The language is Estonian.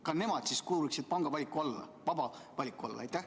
Kas nemad kuuluksid siis samuti panga vaba valiku alla?